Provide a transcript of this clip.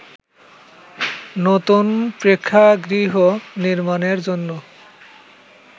নতুন প্রেক্ষাগৃহ নির্মাণের জন্য